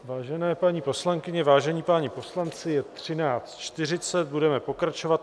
Vážené paní poslankyně, vážení páni poslanci, je 13.40, budeme pokračovat.